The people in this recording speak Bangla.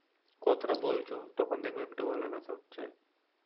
কথাটা বলছ তখন দেখবে একটা গলায় ব্যথা হচ্ছে